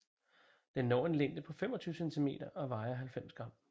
Den når en længde på 25 cm og vejer 90 g